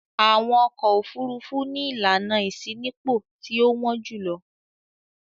Àwọn ọkọ̀-òfurufú ni ìlànà ìṣínípò tí ó wọ́n jù lọ.